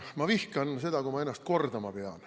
Ma vihkan seda, kui ma ennast kordama pean.